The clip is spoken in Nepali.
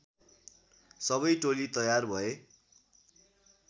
सबै टोली तयार भए